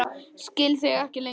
Ég skil þig ekki lengur.